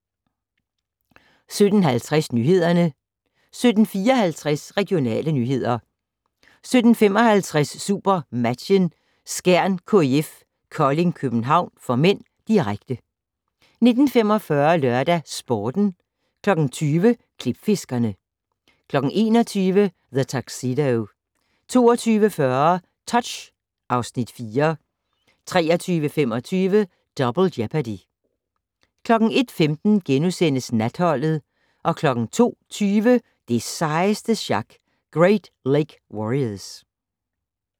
17:50: Nyhederne 17:54: Regionale nyheder 17:55: SuperMatchen: Skjern-KIF Kolding København (m), direkte 19:45: LørdagsSporten 20:00: Klipfiskerne 21:00: The Tuxedo 22:40: Touch (Afs. 4) 23:25: Double Jeopardy 01:15: Natholdet * 02:20: Det sejeste sjak - Great Lake Warriors